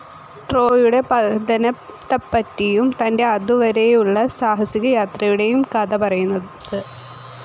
ട്രോയ്യുടെ പതനത്തപ്പറ്റിയും തന്റെ അതു വരേയുളള സാഹസികയാത്രയുടേയും കഥ പറയുന്നത്.